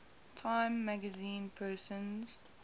time magazine persons